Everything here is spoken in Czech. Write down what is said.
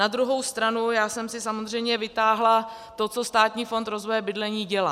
Na druhou stranu já jsem si samozřejmě vytáhla to, co Státní fond rozvoje bydlení dělá.